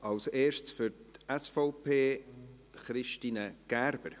Zuerst für die SVP, Christine Gerber.